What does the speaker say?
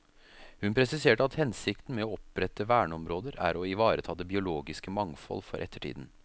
Hun presiserte at hensikten med å opprette verneområder er å ivareta det biologiske mangfold for ettertiden.